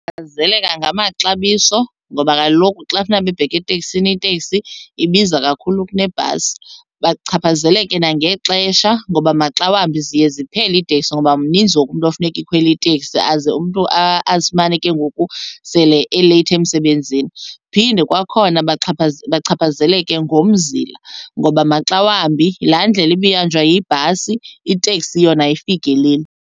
ngamaxabiso ngoba kaloku xa kufuneka bebheke eteksini iteksi ibiza kakhulu kunebhasi. Bachaphazeleke nangexesha ngoba maxa wambi ziye ziphele iteksi ngoba mninzi wonke umntu ofuneka ekhwele itekisi aze umntu azifumane ke ngoku sele eleyithi emsebenzini. Phinde kwakhona bachaphazeleke ngomzimla ngoba maxa wambi laa ndlela ibihanjwa yibhasi iteksi yona ayifikeleli.